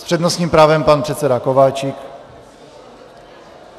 S přednostním právem pan předseda Kováčik.